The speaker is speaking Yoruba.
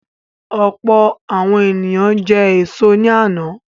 Ọ̀pọ̀ àwọn ènìyàn jẹ èso ní àná.